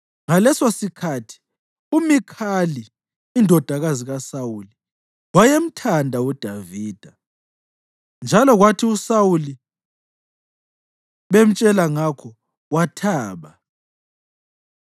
Ngalesosikhathi uMikhali, indodakazi kaSawuli, wayemthanda uDavida, njalo kwathi uSawuli bemtshela ngakho, wathaba.